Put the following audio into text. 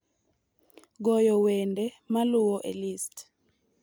goyo wende maluwo e list